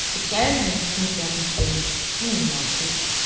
скучаешь ну не в смысле отношений ну нахуй